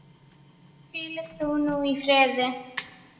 Hvíl þú nú í friði.